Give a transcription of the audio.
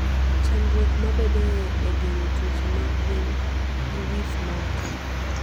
Chandruok mabedoe e geng'o tuoche mag gwen gi with moko.